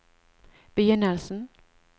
begynnelsen